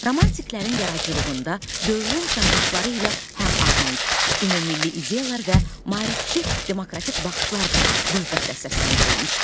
Romantiklərin yaradıcılığında dövrün çağırışları ilə həmahəng ümummilli ideyalar və maarifçi demokratik baxışlar da qüvvətlə səsləndirilmişdi.